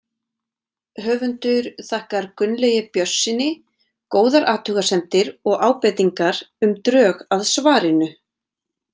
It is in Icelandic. Höfundur þakkar Gunnlaugi Björnssyni góðar athugasemdir og ábendingar um drög að svarinu.